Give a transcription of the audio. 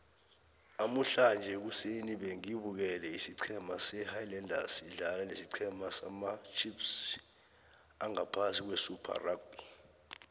namuhlange ekuseni bengibukele isiceme sama highlanders sidlala nesicema samacheifs angaphasi kwesuper rugby